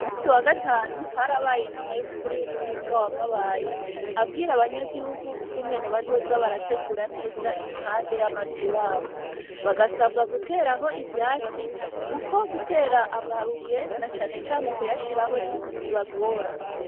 Umusi wa gatanu hari abaye inama y'umukuru w'umutumba wamabayi abwira abanyagihugu ukungene bazoza barategura neza iruhande y'amazu yabo bagasabwa guteraho ivyatsi, kuko gutera amabuye na canecane kuyashiraho bibagora.